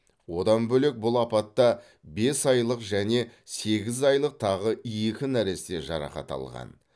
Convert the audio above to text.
одан бөлек бұл апатта бес айлық және сегіз айлық тағы екі нәресте жарақат алған